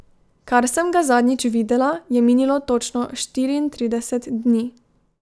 Kar sem ga zadnjič videla, je minilo točno štiriintrideset dni.